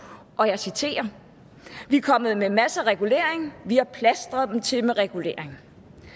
og jeg citerer vi er kommet med masser af regulering vi har plastret dem til med regulering